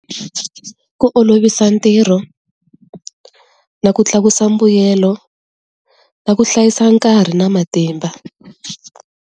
Ku olovisa ntirho na ku tlakusa mbuyelo na ku hlayisa nkarhi na matimba.